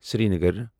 Srinagar